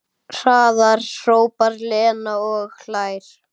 Hraðar, hrópar Lena og hlær.